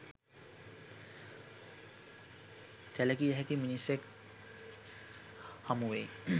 සැලකිය හැකි මිනිසෙක් හමු වෙයි.